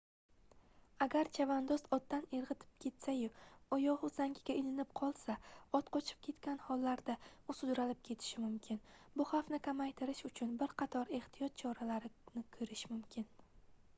agar chavandoz otdan irgʻitib ketsa-yu oyogʻi uzangiga ilinib qolsa ot qochib ketgan hollarda u sudralib ketilishi mumkin bu xavfni kamaytirish uchun bir qatoq ehtiyotkorlik choralarini koʻrish mumkin